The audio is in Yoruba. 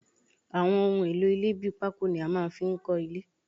Àwọn ohun èlò ilẹ́ bí pako ni a máa ń fi nkọ ilé